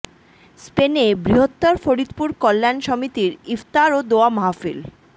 স্পেনে বৃহত্তর ফরিদপুর কল্যাণ সমিতির ইফতার ও দোয়া মাহফিল